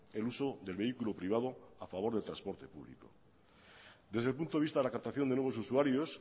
el uso del vehículo privado a favor del transporte público desde el punto de vista de la captación de nuevos usuarios